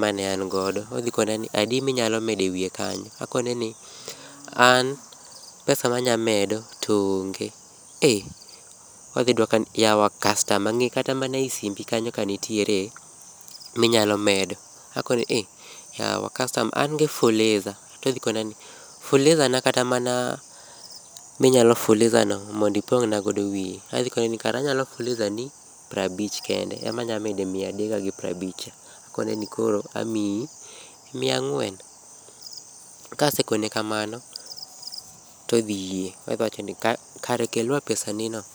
ma ne an go to odhi penja ni adi mi inyalo mdo e wiye kanyo to akone ni an pesa ma anya medo to onge to odhi dwoka ni yawa kastama ng'i e simbi kanyo ka nitiere ma inyalo medo ako ni ei kastama an gi fuliza to odhi kona ni ya fuliza na kara mana mi inyalo fuliza no mondo ipong' na wiye to adhi kone ni kara anyalo fuliza ni piero abich kende e ma anyamedo e mia adega gi piero abich ni. Akone ni koro amiyi mia ang'wen kasekone amano to odhi yie. odhi wacho nji karakel wa pesa ni no.